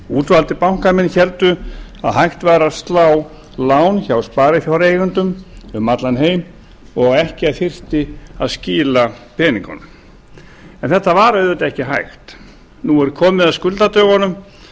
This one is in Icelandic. útvaldir bankamenn héldu að hægt væri að slá lán hjá sparifjáreigendum um allan heim og ekki þyrfti að skila peningunum en þetta var auðvitað ekki hægt nú er komið að skuldadögunum